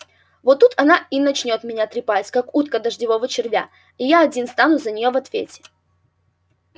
вот тут она и начнёт меня трепать как утка дождевого червя и я один стану за нее в ответе